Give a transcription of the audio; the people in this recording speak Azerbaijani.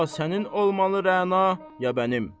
Ya sənin olmalı Rəna, ya bənim.